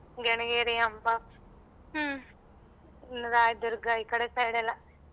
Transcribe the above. ಗೆಣಗೇರಿ ಹಂಬ ರಾಯದುರ್ಗ ಈ ಕಡೆ side ಎಲ್ಲ.